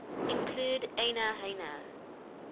include aina haina